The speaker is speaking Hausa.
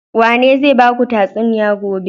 Wane zai baku tatsuniya gobe?